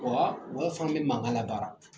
Ɔwa, o y'a sɔrɔ an bɛ mankan labaara.